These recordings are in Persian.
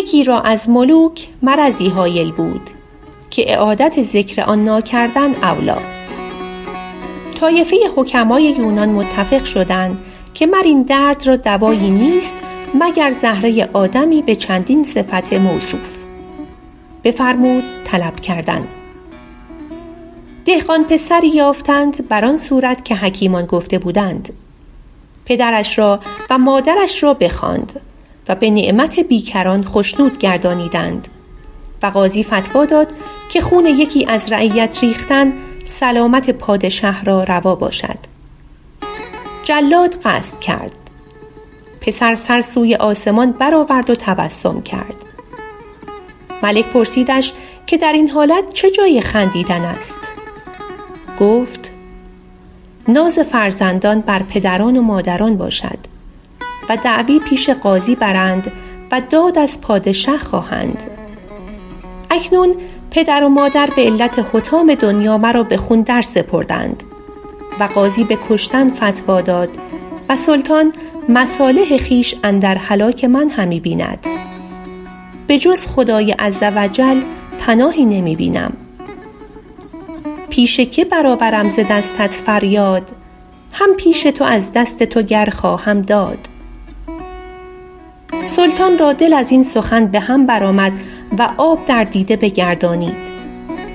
یکی را از ملوک مرضی هایل بود که اعادت ذکر آن ناکردن اولیٰ طایفه حکمای یونان متفق شدند که مر این درد را دوایی نیست مگر زهره آدمی به چندین صفت موصوف بفرمود طلب کردن دهقان پسری یافتند بر آن صورت که حکیمان گفته بودند پدرش را و مادرش را بخواند و به نعمت بیکران خشنود گردانیدند و قاضی فتویٰ داد که خون یکی از رعیت ریختن سلامت پادشه را روا باشد جلاد قصد کرد پسر سر سوی آسمان بر آورد و تبسم کرد ملک پرسیدش که در این حالت چه جای خندیدن است گفت ناز فرزندان بر پدران و مادران باشد و دعوی پیش قاضی برند و داد از پادشه خواهند اکنون پدر و مادر به علت حطام دنیا مرا به خون درسپردند و قاضی به کشتن فتویٰ داد و سلطان مصالح خویش اندر هلاک من همی بیند به جز خدای عزوجل پناهی نمی بینم پیش که بر آورم ز دستت فریاد هم پیش تو از دست تو گر خواهم داد سلطان را دل از این سخن به هم بر آمد و آب در دیده بگردانید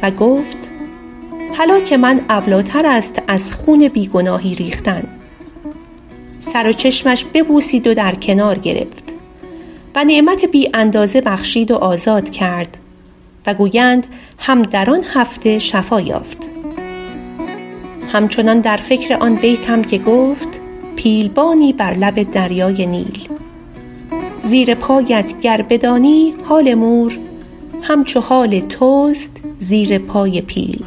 و گفت هلاک من اولیٰ تر است از خون بی گناهی ریختن سر و چشمش ببوسید و در کنار گرفت و نعمت بی اندازه بخشید و آزاد کرد و گویند هم در آن هفته شفا یافت هم چنان در فکر آن بیتم که گفت پیل بانی بر لب دریای نیل زیر پایت گر بدانی حال مور هم چو حال توست زیر پای پیل